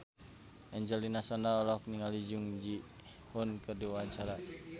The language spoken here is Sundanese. Angelina Sondakh olohok ningali Jung Ji Hoon keur diwawancara